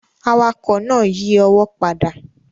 Awakọ̀ náà yí ọwọ́ padà